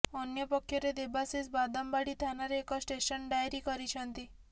ଅନ୍ୟପକ୍ଷରେ ଦେବାଶିଷ ବାଦାମବାଡ଼ି ଥାନାରେ ଏକ ଷ୍ଟେସନ ଡାଏରୀ କରିଛନ୍ତି